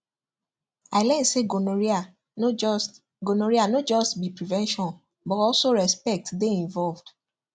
i learn say gonorrhea no just gonorrhea no just be prevention but also respect dey involved